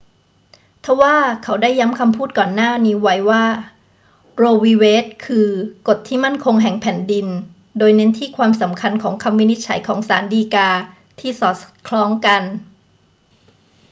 ทว่าเขาได้ย้ำคำพูดก่อนหน้านี้ว่า โร วี เวด คือ กฎที่มั่นคงแห่งแผ่นดิน โดยเน้นที่ความสำคัญของคำวินิจฉัยของศาลฎีกาที่สอดคล้องกัน